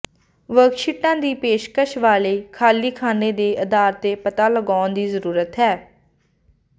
ਵਰਕਸ਼ੀਟਾਂ ਦੀ ਪੇਸ਼ਕਸ਼ ਵਾਲੇ ਖਾਲੀ ਖਾਨੇ ਦੇ ਆਧਾਰ ਤੇ ਪਤਾ ਲਗਾਉਣ ਦੀ ਜ਼ਰੂਰਤ ਹੈ